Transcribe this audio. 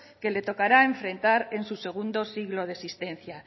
que le tocará enfrentar en su segundo siglo de existencia